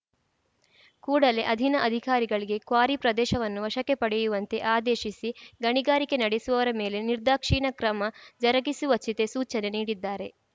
ಕೂಡಲೇ ಅಧೀನ ಅಧಿಕಾರಿಗಳಿಗೆ ಕ್ವಾರಿ ಪ್ರದೇಶವನ್ನು ವಶಕ್ಕೆ ಪಡೆಯುವಂತೆ ಆದೇಶಿಸಿ ಗಣಿಗಾರಿಕೆ ನಡೆಸುವವರ ಮೇಲೆ ನಿರ್ದಾಕ್ಷಿಣ್ಯ ಕ್ರಮ ಜರುಗಿಸುವಚಿತೆ ಸೂಚನೆ ನೀಡಿದ್ದಾರೆ